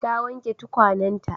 Ta wanke tukwanenta.